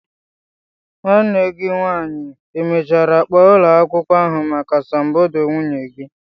Nwanne gi nwanyi e mechara kpo ulo akwukwo ahu maka asambodo nwunye gi?